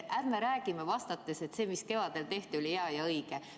Ärge rääkige vastates, et see, mis kevadel tehti, oli hea ja õige.